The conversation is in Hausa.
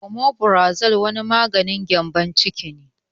Omeferazole wani maganin gƴambon ciki ne